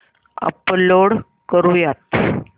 upload करुयात